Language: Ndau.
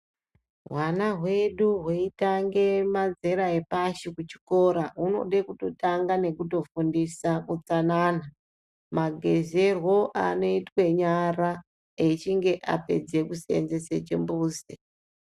Hwana hwedu hweitanga mazera epashi kuchikora hunoda kutotanga nekutofundisa utsanana. Magezerwo anoitwa nyara echinge apedza kuseenzesa chimbuzi.